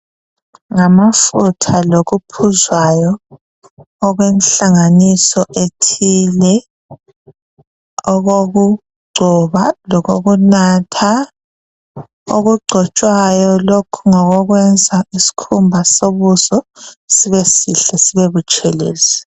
Ngamfutha lokuphuzwayo okwenhlanganiso ethile okokugcoba lokokunatha okugcotshwayo lokhu ngokokwenza iskhumba sobuso sibesihle sibe butshelezi